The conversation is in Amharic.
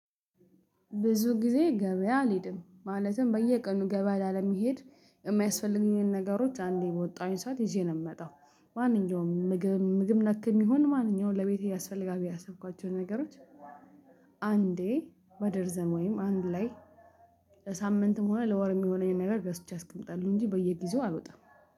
ብዙ ጊዜ ገበያ አልሄድም ማለትም በየቀኑ ገበያ ላለመሄድ የሚያስፈልገኝን ነገሮች አንዴ በወጣሁኝ ሰዓት ይዤ ነው የምመጣው ማንኛውም ምግብ ምግብ ምግብ ነክም ይሁን ማንኛውም ለቤቴ ያስፈልጋል ብዬ ያሰብኳቸውን ነገሮች። አንዴ ወደርዘም ወይም አንድ ላይ ለሳምንት መሆን ለወር የሚሆነኝን ነገር ገዝቼ አስቀምጣለሁ እንጂ በየጊዜው አልወጣም።